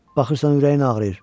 Baxırsan, ürəyin ağrıyır.